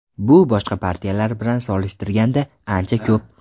Bu boshqa partiyalar bilan solishtirganda ancha ko‘p.